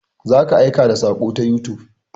Za ka aika da saƙo ta youtube.